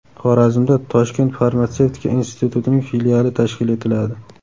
Xorazmda Toshkent farmatsevtika institutining filiali tashkil etiladi.